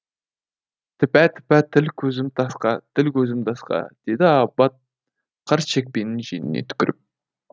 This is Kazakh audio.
тіпә тіпә тіл көзім тасқа тіл көзім тасқа деді абат қарт шекпенінің жеңіне түкіріп